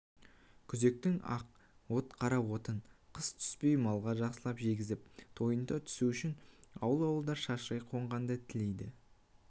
күзектің ақ от қара отын қыс түспей малға жақсылап жегізіп тойынта түсу үшін ауыл-ауылдар шашырай қонғанды тілейді